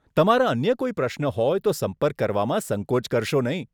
તમારા અન્ય કોઈ પ્રશ્નો હોય તો સંપર્ક કરવામાં સંકોચ કરશો નહીં.